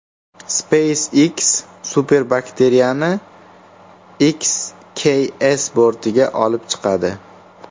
SpaceX superbakteriyani XKS bortiga olib chiqadi.